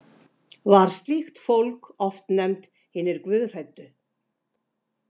Var slíkt fólk oft nefnt „hinir guðhræddu“.